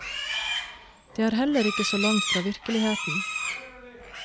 Det er heller ikke så langt fra virkeligheten.